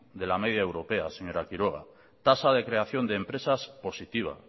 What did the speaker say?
de la media europea señora quiroga tasa de creación de empresas positiva